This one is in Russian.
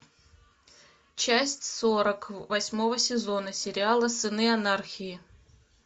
часть сорок восьмого сезона сериала сыны анархии